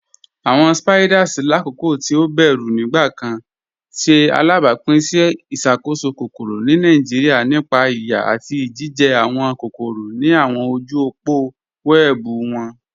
Awọn Spiders, lakoko ti o bẹru nigbakan, ṣe alabapin si iṣakoso kokoro ni Nigeria nípa iyà ati ijijẹ awọn kokoro ni awọn ojú òpó wẹẹbu wọn.